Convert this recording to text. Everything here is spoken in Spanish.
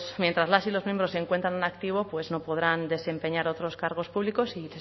mientras las y los miembros se encuentran en activo pues no podrán desempeñar otros cargos públicos y